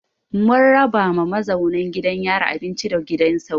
Mun raba ma mazauna gidan yarin abinci da gidan sauro.